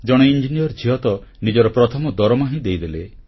ଜଣେ ଇଞ୍ଜିନିୟର ଝିଅ ତ ନିଜର ପ୍ରଥମ ଦରମା ହିଁ ଦେଇଦେଲେ